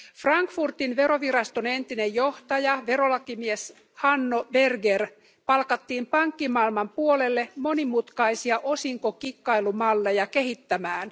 Frankfurtin veroviraston entinen johtaja, verolakimies Hanno Berger, palkattiin pankkimaailman puolelle monimutkaisia osinkokikkailumalleja kehittämään.